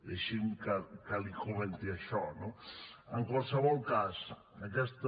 deixi’m que li comenti això no en qualsevol cas aquesta